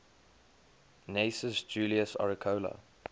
gnaeus julius agricola